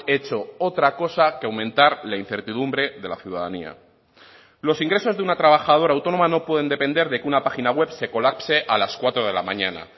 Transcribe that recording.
hecho otra cosa que aumentar la incertidumbre de la ciudadanía los ingresos de una trabajadora autónoma no pueden depender de que una página web se colapse a las cuatro de la mañana